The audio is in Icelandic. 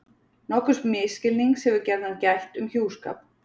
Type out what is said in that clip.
nokkurs misskilnings hefur gjarnan gætt um hjúskap